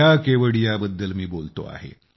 त्या केवडिया बद्दल मी बोलतो आहे